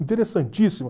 Interessantíssimo.